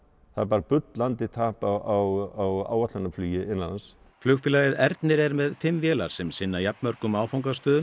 það er bara bullandi tap á áætlunarflugi innanlands flugfélagið Ernir er með fimm vélar sem sinna jafn mörgum áfangastöðum